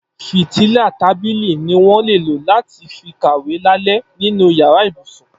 Fítìlá tàbílí niwọn lé ló làtí fi kàwé làlẹ̀ ninú iyàrá ibúsún